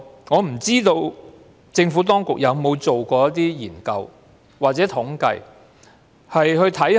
我不知道政府當局有否做過研究或統計。